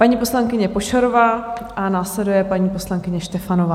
Paní poslankyně Pošarová a následuje paní poslankyně Štefanová.